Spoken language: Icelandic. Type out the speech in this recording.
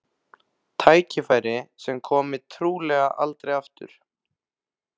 Tækifæri sem komi trúlega aldrei aftur.